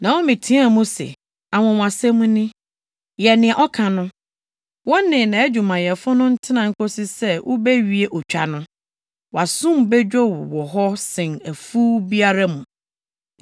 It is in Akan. Naomi teɛɛ mu se, “Anwonwasɛm ni! Yɛ nea ɔka no. Wo ne nʼadwumayɛfo no ntena nkosi sɛ wobewie otwa no. Wʼasom bedwo wo wɔ hɔ sen afuw biara mu.”